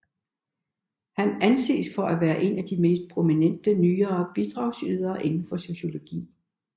Han anses for at være en af de mest prominente nyere bidragydere inden for sociologi